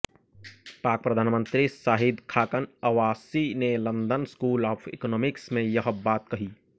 पाक प्रधानमंत्री शाहिद खाकन अब्बासी ने लंदन स्कूल ऑफ इकॉनोमिक्स में यह बात कही